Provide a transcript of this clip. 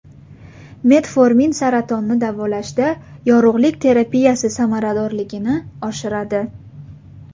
Metformin saratonni davolashda yorug‘lik terapiyasi samaradorligini oshiradi.